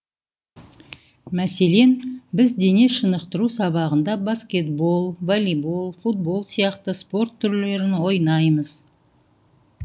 мәселен біз дене шынықтыру сабағында баскетбол волейбол футбол сияқты спорт түрлерін ойнаймыз